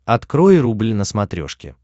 открой рубль на смотрешке